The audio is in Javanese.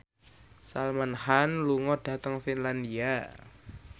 Salman Khan lunga dhateng Finlandia